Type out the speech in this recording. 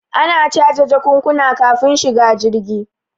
Ana caje jakunkuna kafin shiga jirgi